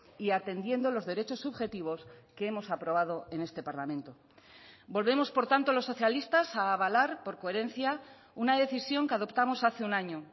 y atendiendo los derechos subjetivos que hemos aprobado en este parlamento volvemos por tanto los socialistas a avalar por coherencia una decisión que adoptamos hace un año